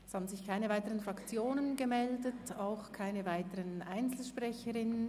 Es haben sich keine weiteren Fraktionen gemeldet, auch keine Einzelsprecherinnen und Einzelsprecher.